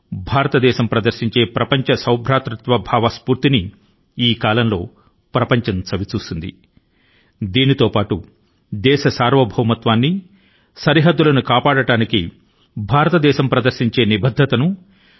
భారతదేశం యొక్క విశ్వవ్యాప్త సోదర స్ఫూర్తి ని ప్రపంచం గ్రహించింది అదే సమయంలో భారతదేశం యొక్క సార్వభౌమత్వాన్ని మరియు ప్రాదేశిక సమగ్రత ను కాపాడటాని కి భారత ప్రజల నిబద్ధత మరియు శక్తి ని కూడా గమనించింది